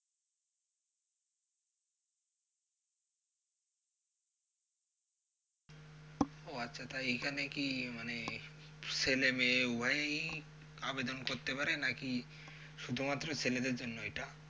ও আচ্ছা তাই এখানে কি মানে ছেলেমেয়ে উভয়েই আবেদন করতে পারে নাকি শুধুমাত্র ছেলেদের জন্য এইটা?